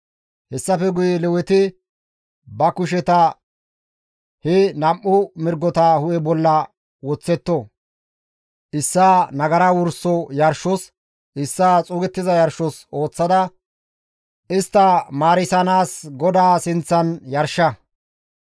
«Hessafe guye Leweti ba kusheta he nam7u mirgota hu7e bolla woththetto; issaa nagara wurso yarshos, issaa xuugettiza yarshos ooththada istta maarisanaas GODAA sinththan yarsha.